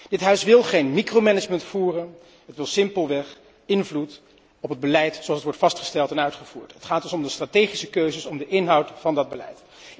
Dit Huis wil geen micromanagement voeren, het wil simpelweg invloed op het beleid zoals het wordt vastgesteld en uitgevoerd. Het gaat dus om de strategische keuzes, om de inhoud van dat beleid.